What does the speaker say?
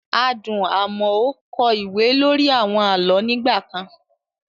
Adùn Amoo kọ ìwé lórí àwọn àlọ́ nígbà kan.